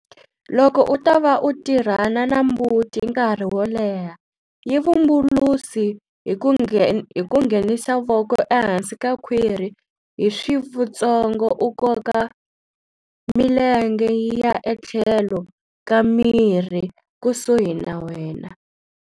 Loko u ta va u tirhana na mbuti nkarhi wo leha, yi vumbulusi hi ku nghensa voko ehansi ka khwiri hi swivtsongo u koka milenge yi ya etlhelo ka mirhi kusuhi na wena.